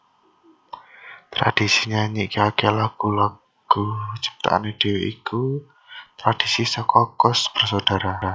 Tradhisi nyanyikaké lagu lagu ciptaané dhewé iku tradhisi saka Koes Bersaudara